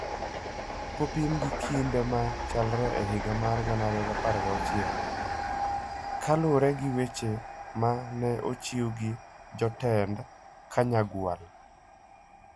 kopim gi kinde ma chalre e higa mar 2016, ka luwore gi weche ma ne ochiw gi jotend Kanyagwal.